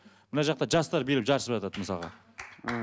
мына жақта жастар билеп жарысып жатады мысалға м